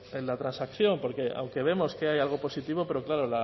en la transacción porque aunque vemos que hay algo positivo pero claro